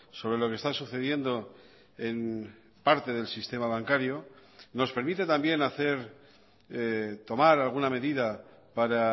sobre lo que está sucediendo en parte del sistema bancario nos permite también hacer tomar alguna medida para